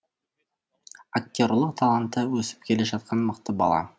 актерлық таланты өсіп келе жатқан мықты бала